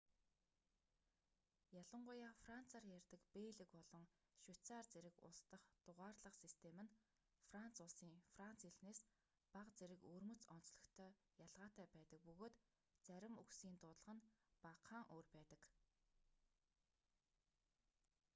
ялангуяа францаар ярьдаг бельги болон швейцарь зэрэг улс дахь дугаарлах систем нь франц улсын франц хэлнээс бага зэрэг өвөрмөц онцлогтой ялгаатай байдаг бөгөөд зарим үгсийн дуудлага нь багахан өөр байдаг